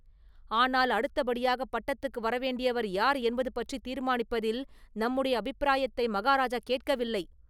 ஆனால் அடுத்தபடியாகப் பட்டத்துக்கு வரவேண்டியவர் யார் என்பது பற்றித் தீர்மானிப்பதில் நம்முடைய அபிப்பிராயத்தை மகாராஜா கேட்கவில்லை.